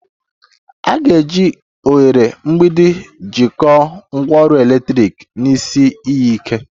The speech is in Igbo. A ga-eji oghere mgbidi jikọọ ngwaọrụ eletrik na isi iyi ike